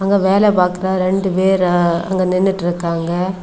அங்க வேல பாக்குற ரெண்டு பேரா அங்க நின்னுட்ருக்காங்க.